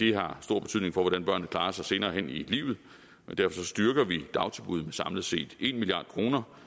har stor betydning for hvordan børnene klarer sig senere hen i livet derfor styrker vi dagtilbuddene med samlet set en milliard kroner